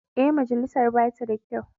Ee, majalisar ba ta da kyau.